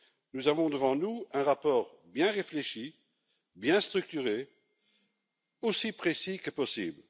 Nous avons devant nous un rapport bien réfléchi, bien structuré, aussi précis que possible.